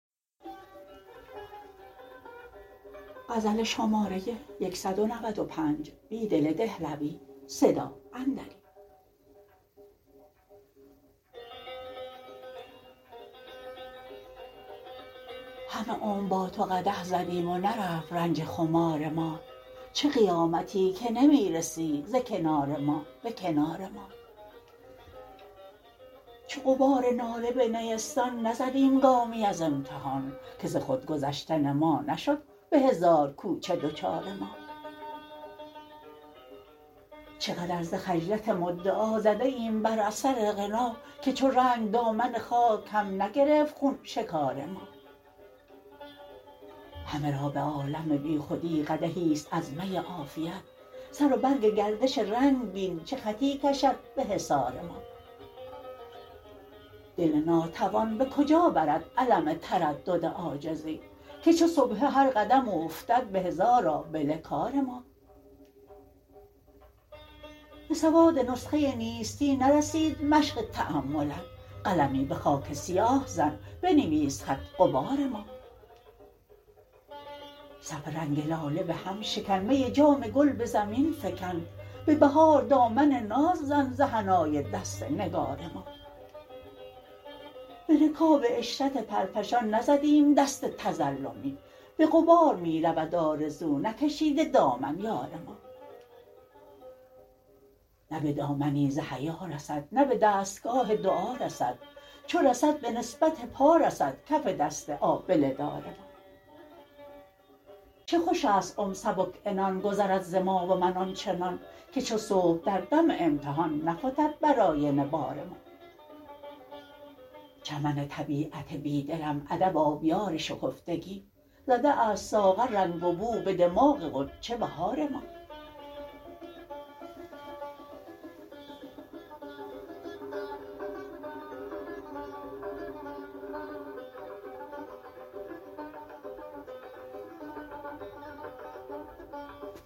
همه عمر با تو قدح زدیم و نرفت رنج خمار ما چه قیامتی که نمی رسی ز کنار ما به کنار ما چو غبار ناله به نیستان نزدیم گامی از امتحان که ز خودگذشتن ما نشد به هزار کوچه دچار ما چقدر ز خجلت مدعا زده ایم بر اثر غنا که چو رنگ دامن خاک هم نگرفت خون شکار ما همه را به عالم بیخودی قدحی ست از می عافیت سر و برگ گردش رنگ بین چه خطی کشد به حصار ما دل ناتوان به کجا برد الم تردد عاجزی که چو سبحه هر قدم اوفتد به هزار آبله کار ما به سواد نسخه نیستی نرسید مشق تأملت قلمی به خاک سیاه زن بنویس خط غبار ما صف رنگ لاله به هم شکن می جام گل به زمین فکن به بهار دامن ناز زن ز حنای دست نگار ما به رکاب عشرت پرفشان نزدیم دست تظلمی به غبار می رود آرزو نکشیده دامن یار ما نه به دامنی ز حیا رسد نه به دستگاه دعا رسد چو رسد به نسبت پا رسد کف دست آبله دار ما چو خوش است عمر سبک عنان گذرد ز ما و من آنچنان که چو صبح در دم امتحان نفتد بر آینه بار ما چمن طبیعت بیدلم ادب آبیار شکفتگی زده است ساغر رنگ و بو به دماغ غنچه بهار ما